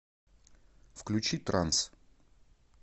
включи транс